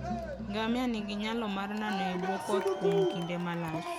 Ngamia nigi nyalo mar nano e bwo koth kuom kinde malach.